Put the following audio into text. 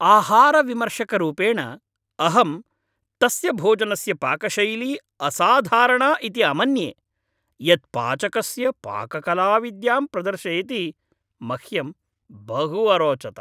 आहारविमर्शकरूपेण, अहं तस्य भोजनस्य पाकशैली असाधारणा इति अमन्ये, यत् पाचकस्य पाककलाविद्यां प्रदर्शयति, मह्यम् बहु अरोचत।